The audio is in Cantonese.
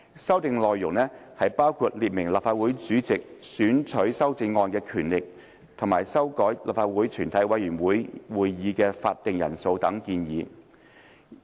修訂內容包括列明立法會主席選取修正案的權力，以及修改立法會全體委員會的會議法定人數等建議。